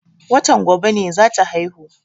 Watan gobe ne za ta haihu.